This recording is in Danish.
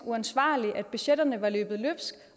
uansvarlig at budgetterne var løbet løbsk